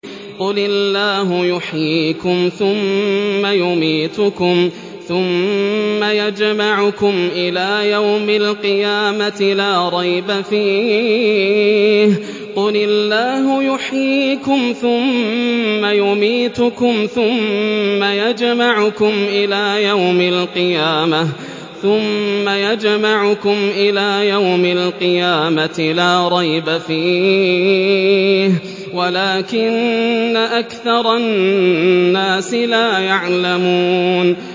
قُلِ اللَّهُ يُحْيِيكُمْ ثُمَّ يُمِيتُكُمْ ثُمَّ يَجْمَعُكُمْ إِلَىٰ يَوْمِ الْقِيَامَةِ لَا رَيْبَ فِيهِ وَلَٰكِنَّ أَكْثَرَ النَّاسِ لَا يَعْلَمُونَ